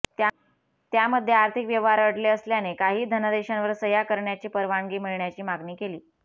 त्यामध्ये आर्थिक व्यवहार अडले असल्याने काही धनादेशांवर सह्या करण्याची परवानगी मिळण्याची मागणी केली